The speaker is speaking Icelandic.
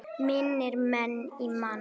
Mínir menn í Man.